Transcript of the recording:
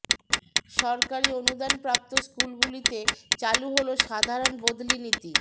সরকারি অনুদান প্রাপ্ত স্কুলগুলিতে চালু হল সাধারণ বদলি নীতি